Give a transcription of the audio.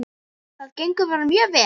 Það gengur bara mjög vel.